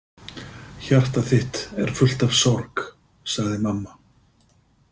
Hjarta þitt er fullt af sorg, sagði mamma.